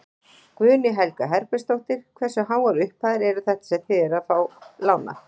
Guðný Helga Herbertsdóttir: Hversu háar upphæðir eru þetta sem þið eruð að lána?